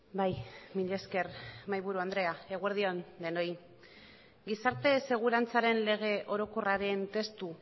bai mila esker mahaiburu andrea eguerdi on denoi gizarte segurantzaren lege orokorraren testu